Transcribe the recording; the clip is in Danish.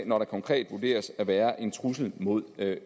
når der konkret vurderes at være en trussel mod